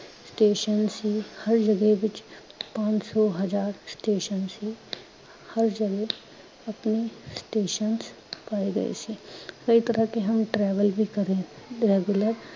Station ਸੀ, ਹਰ ਜਗਹਿ ਵਿਚ ਪੰਜ ਸੌ ਹਜ਼ਾਰ ਸਟੇਸ਼ਨ ਸੀ। ਹਰ ਜਗਹਿ ਅਪਨੇ stations ਪਾਏ ਗਏ ਸੀ। ਏਕ ਤਰ੍ਹਾਂ ਕੇ ਹਮ travel ਵੀ ਕਰੇਂ regular